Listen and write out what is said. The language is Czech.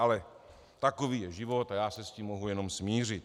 Ale takový je život a já se s tím mohu jenom smířit.